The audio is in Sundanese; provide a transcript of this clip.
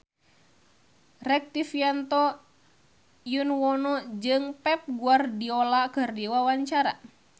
Rektivianto Yoewono jeung Pep Guardiola keur dipoto ku wartawan